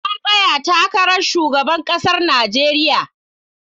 Na tsaya takarar shugaban ƙasar Nijeriya